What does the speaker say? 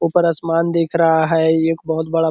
ऊपर असमान दिख रहा है एक बहुत बड़ा।